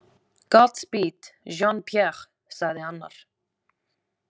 Godspeed, Jean- Pierre, sagði annar.